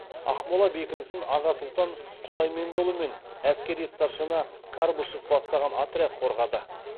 ақмола бекінісін аға сұлтан құдаймендіұлы мен әскери старшина карбышев бастаған отряд қорғады